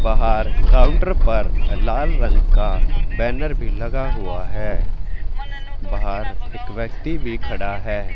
बाहर काउंटर पर लाल रंग का बैनर भी लगा हुआ है बाहर एक व्यक्ति भी खड़ा है।